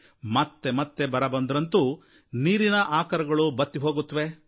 ಮತ್ತೆ ಮತ್ತೆ ಬರ ಬಂದರಂತೂ ನೀರಿನ ಆಕರಗಳು ಬತ್ತಿ ಹೋಗುತ್ತವೆ